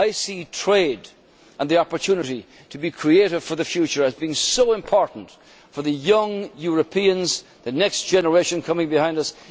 view. I see trade and the opportunity to be creative for the future as being so important for young Europeans, the next generation coming behind